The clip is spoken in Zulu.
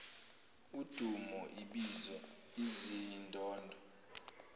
udumo ibizo izindondo